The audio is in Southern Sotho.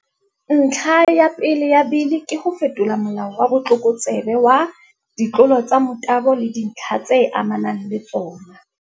Ntlha ya pele ya Bili ke ho fetola Molao wa Botlokotsebe wa, Ditlolo tsa Motabo le Dintlha tse Amanang le Tsona.